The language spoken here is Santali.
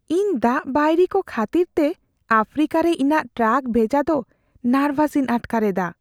ᱤᱧ ᱫᱟᱜ ᱵᱟᱹᱭᱨᱤᱠᱚ ᱠᱷᱟᱹᱛᱤᱨᱛᱮ ᱟᱯᱷᱨᱤᱠᱟᱨᱮ ᱤᱧᱟᱹᱜ ᱴᱨᱟᱠ ᱵᱷᱮᱡᱟ ᱫᱚ ᱱᱟᱨᱵᱷᱟᱥᱤᱧ ᱟᱴᱠᱟᱨ ᱮᱫᱟ ᱾